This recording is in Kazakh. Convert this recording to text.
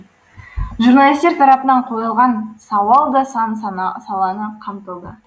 журналистер тарапынан қойылған сауал да сан саланы қамтылды